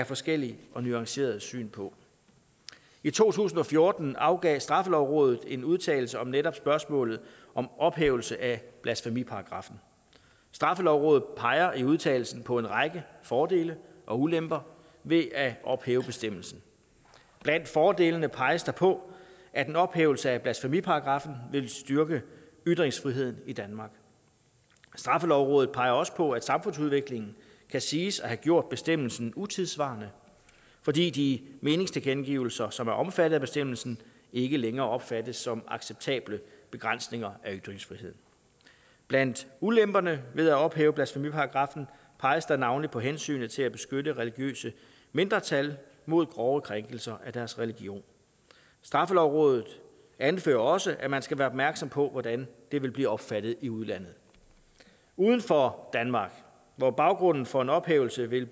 forskellige og nuancerede syn på i to tusind og fjorten afgav straffelovrådet en udtalelse om netop spørgsmålet om ophævelse af blasfemiparagraffen straffelovrådet peger i udtalelsen på en række fordele og ulemper ved at ophæve bestemmelsen blandt fordelene peges der på at en ophævelse af blasfemiparagraffen vil styrke ytringsfriheden i danmark straffelovrådet peger også på at samfundsudviklingen kan siges at have gjort bestemmelsen utidssvarende fordi de meningstilkendegivelser som er omfattet af bestemmelsen ikke længere opfattes som acceptable begrænsninger af ytringsfriheden blandt ulemperne ved at ophæve blasfemiparagraffen peges der navnlig på hensynet til at beskytte religiøse mindretal mod grove krænkelser af deres religion straffelovrådet anfører også at man skal være opmærksom på hvordan det vil blive opfattet i udlandet uden for danmark hvor baggrunden for en ophævelse vil